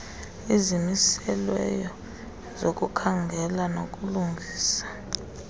izimiselweyo zokukhangela nokulungisa